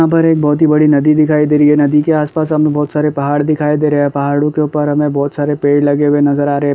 यहां पर एक बहोत ही बड़ी नदी दिखाई दे रही हैं नदी के आस-पास हमें बहोत सारे पहाड़ दिखाई दे रहे हैं पहाड़ों के ऊपर हमें बहोत सारे पेड़ लगे हुए नज़र आ रहे हैं।